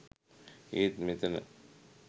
ඒත් මෙතන